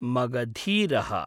मगधीरः